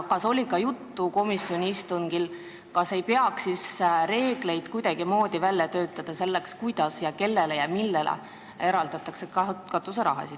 Kas komisjoni istungil oli juttu ka sellest, kas ei peaks kuidagimoodi välja töötama reegleid, kuidas, kellele ja millele katuseraha eraldatakse?